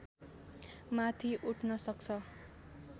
माथि उठ्न सक्छ